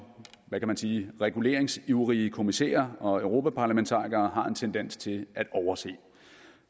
hvad kan man sige reguleringsivrige kommissærer og europaparlamentarikere har en tendens til at overse